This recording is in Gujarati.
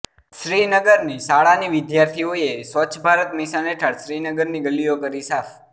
શ્રીનગરની શાળાની વિદ્યાર્થીઓએ સ્વચ્છ ભારત મિશન હેઠળ શ્રીનગરની ગલીઓ કરી સાફ